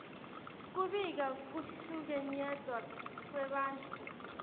kubika kuhlukunyetwa kwebantfu